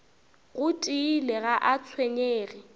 go tiile ga a tshwenyege